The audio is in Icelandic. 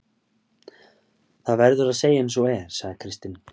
Það verður að segja eins og er, sagði Kristinn.